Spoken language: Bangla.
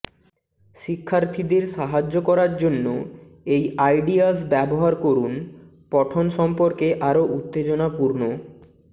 শিক্ষার্থীদের সাহায্য করার জন্য এই আইডিয়াস ব্যবহার করুন পঠন সম্পর্কে আরো উত্তেজনাপূর্ণ